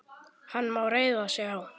Hann má reiða sig á.